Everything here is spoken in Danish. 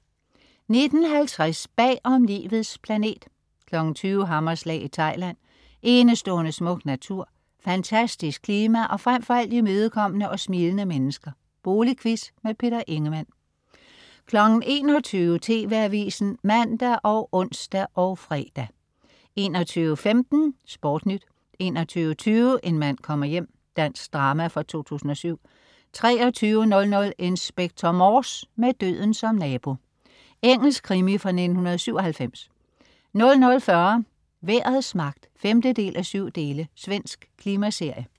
19.50 Bag om Livets planet 20.00 Hammerslag i Thailand. Enestående smuk natur, fantastisk klima og frem for alt, imødekommende og smilende mennesker. Boligquiz. Peter Ingemann 21.00 TV Avisen (man og ons og fre) 21.15 SportNyt 21.20 En mand kommer hjem. Dansk drama fra 2007 23.00 Inspector Morse: Med døden som nabo. Engelsk krimi fra 1997 00.40 Vejrets magt. 5:7. Svensk klimaserie